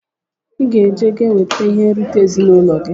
Iga eje ka ewete ihe nrita ezinụlọ gi!!